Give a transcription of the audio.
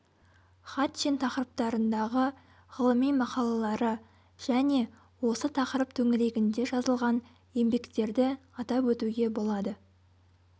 хатчин тақырыптарындағы ғылыми мақалалары және осы тақырып төңірегінде жазылған еңбектерді атап өтуге болады